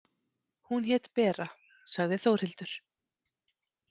Hún hét Bera, sagði Þórhildur.